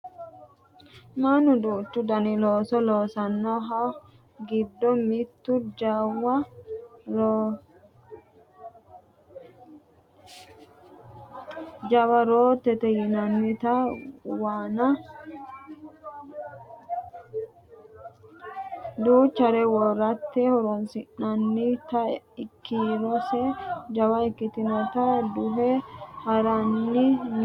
mannu duuchu dani looso loosannohu giddo beettu jawa roottote yinannita waanna duchare worate horonsi'nannita kiirose jawa ikkitinota duhe haranni no yaate